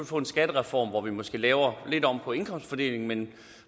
få en skattereform hvor vi måske lavede lidt om på indkomstfordelingen men